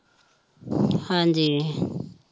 ਹਾਂਜੀ